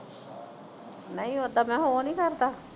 ਨਹੀਂ ਉਹਦਾ ਮੈਂ ਕਿਹਾ ਉਹ ਨਹੀਂ ਕਰਦਾ